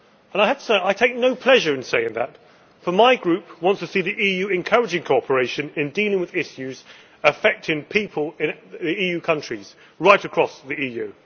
I have to say that I take no pleasure in saying that, for my group wants to see the EU encouraging cooperation in dealing with issues affecting people in the EU countries right across the EU